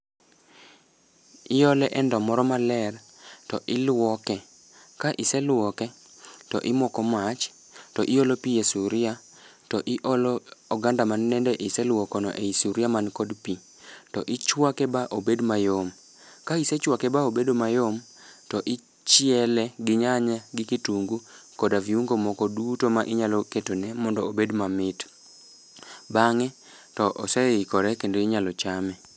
Iole e ndoo moro maler, to iluoke. Ka iseluoke, to imoko mach, to iolo pii e sufria, to iolo oganda ma nende iseluokono e sufria mani kod pii, to ichwake ma obed mayom. Ka isechwake ba obedo mayom, to ichiele, gi nyanya gi kitungu, koda viungo moko duto ma inyalo ketone mondo obed mamit. Bangé to oseikore, kendo inyalo chame.